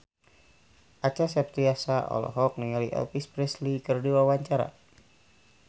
Acha Septriasa olohok ningali Elvis Presley keur diwawancara